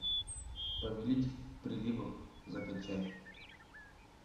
повелитель приливов закачай